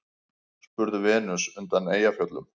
spurði Venus undan Eyjafjöllum.